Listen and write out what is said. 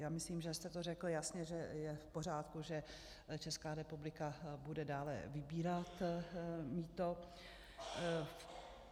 Já myslím, že jste to řekl jasně, že je v pořádku, že Česká republika bude dále vybírat mýto.